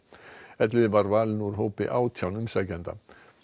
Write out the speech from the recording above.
Elliði var valinn úr hópi átján umsækjenda